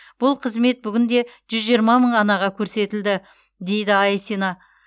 бұл қызмет бүгінде жүз жиырма мың анаға көрсетілді дейді айсина